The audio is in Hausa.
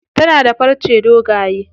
Tana da farce dogaye.